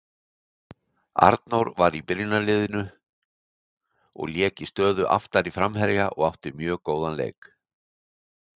Arnór var í byrjunarliðinu og lék í stöðu aftari framherja og átti mjög góðan leik.